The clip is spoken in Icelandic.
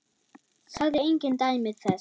Sagði engin dæmi þess.